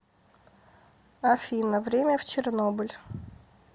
афина время в чернобыль